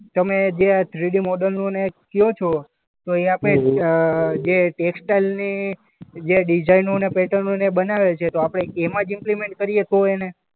તમે જે આ થ્રીડી મોડલનું ને કહો છો તો એ આપણે અ જે ટેક્સટાઈલની જે ડિઝાઈનો ને પેટર્નઓ ને બનાવે છે. તો આપણે એમાં જ ઈમ્પ્લીમેન્ટ કરીએ તો એને?